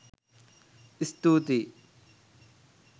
ස්තුතියි